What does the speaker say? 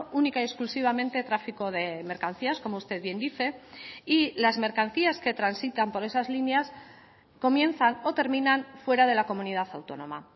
única y exclusivamente tráfico de mercancías como usted bien dice y las mercancías que transitan por esas líneas comienzan o terminan fuera de la comunidad autónoma